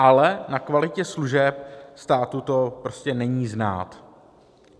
Ale na kvalitě služeb státu to prostě není znát.